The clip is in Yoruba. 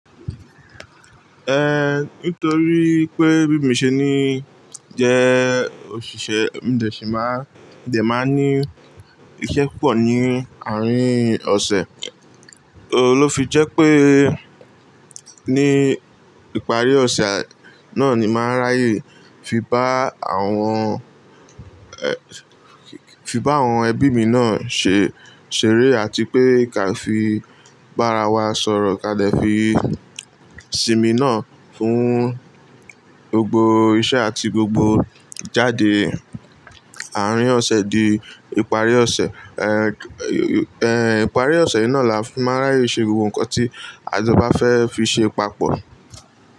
Eh, nítorí pé bí mi ṣe ní jẹ́ òṣìṣẹ́, mo dẹ̀ sí màá, mo de màá ní iṣẹ́ púpọ̀ ní àárín ọ̀sẹ̀. Ohun lo fi jẹ́ pé ní ìparí ọ̀sẹ̀ nani ń máa ráyè fi bá àwọn- fi bá àwọn ẹbí míì na se- ṣeré àti pé ká fi bá rawa sọ̀rọ̀ ka dè fi sinmi náà fún gbogbo iṣẹ́ àti gbogbo ijáde àárín ọ̀sẹ̀ di ìparí ọ̀sẹ̀. Eh, eh, ìparí ọ̀sẹ̀ náà làá fi máa ráyè ṣe gbogbo nǹkan tí a jọ bá fẹ́ fi ṣe papọ̀.